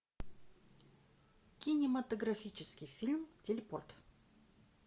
кинематографический фильм телепорт